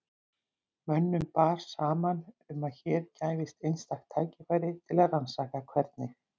Mönnum bar saman um að hér gæfist einstakt tækifæri til að rannsaka hvernig